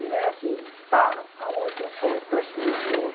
Não é assim, para, há um momentinho só, vou transferir o senhor.